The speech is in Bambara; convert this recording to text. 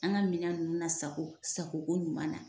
An ka minɛn ninnu na sago sago ko ɲuman na.